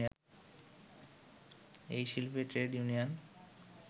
এই শিল্পে trade union